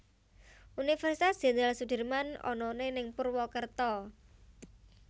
Universitas Jendral Sudirman onone ning Purwokerto